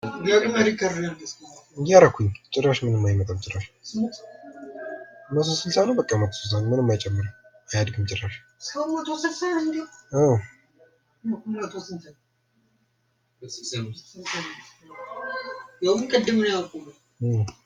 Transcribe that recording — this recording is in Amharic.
ደግመህ ሪከርድ አርግ እስኪ እያደረጉኝ ጭራሽ ምንም አይመጣም 160 ጭራሽ በቃ ምንም አይመጣም አያድግም ጭራሽ።